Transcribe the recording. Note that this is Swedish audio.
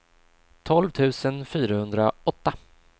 tolv tusen fyrahundraåtta